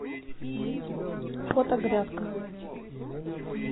фото грядка